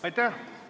Aitäh!